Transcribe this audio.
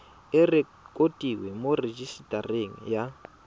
e rekotiwe mo rejisetareng ya